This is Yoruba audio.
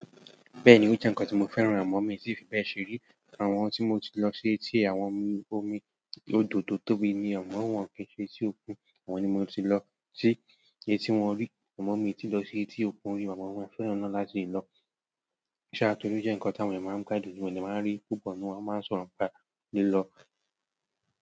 Bẹ́ẹ̀ni ó jẹ́ ǹkan tí mo fẹ́ran, àmọ mi tì fi bẹ́ẹ̀ sẹ rí. Àwọn tí mo ti lọ sí etí àwọn omi òdò tó tóbi ni, àmọ wọn kì í ṣe etí òkun, àwọn ni mo ti lọ sí etí wọn rí. Àmọ mi ti lọ sí etí òkun ri, amo mo maa fẹ́ràn náà láti lọ. Ṣáà tó rí ó jẹ́ ǹkan táwọn ènìyàn máa ń gbádùn, wọ́n dè máa ń ri púpọ̀ nínú wọ́n máa ń sọ̀rọ̀ nípa li lọ.